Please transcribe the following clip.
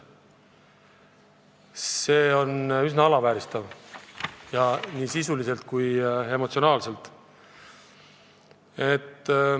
See on üsna alandav nii sisuliselt kui emotsionaalselt.